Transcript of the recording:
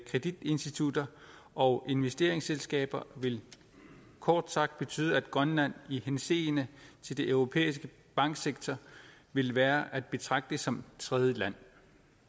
kreditinstitutter og investeringsselskaber vil kort sagt betyde at grønland i henseende til den europæiske banksektor vil være at betragte som tredjeland